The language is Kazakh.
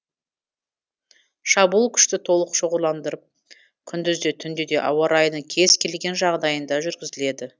шабуыл күшті толық шоғырландырып күндіз де түнде де ауа райының кез келген жағдайында жүргізіледі